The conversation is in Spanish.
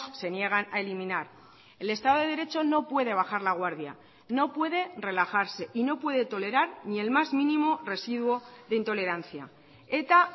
se niegan a eliminar el estado de derecho no puede bajar la guardia no puede relajarse y no puede tolerar ni el más mínimo residuo de intolerancia eta